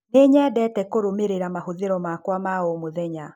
Nĩ nyendete kũrũmĩrĩra mahũthĩro makwa ma o mũthenya.